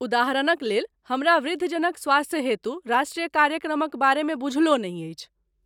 उदाहरणक लेल हमरा वृद्धजनक स्वास्थ्य हेतु राष्ट्रीय कार्यक्रमक बारेमे बूझलो नहि अछि।